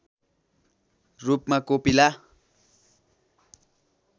रूपमा कोपिला